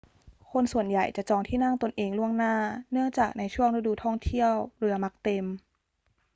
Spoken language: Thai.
คนส่วนใหญ่จะจองที่นั่งตนเองล่วงหน้า เนื่องจากในช่วงฤดูท่องเที่ยวเรือมักเต็ม